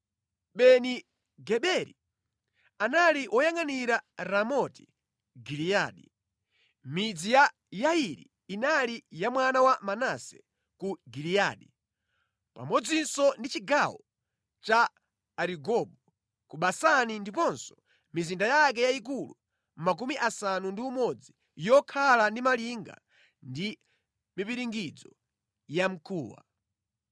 Beni-Geberi, anali woyangʼanira Ramoti Giliyadi (midzi ya Yairi inali ya mwana wa Manase ku Giliyadi, pamodzinso ndi chigawo cha Arigobu ku Basani ndiponso mizinda yake yayikulu makumi asanu ndi umodzi yokhala ndi malinga ndi mipiringidzo yamkuwa).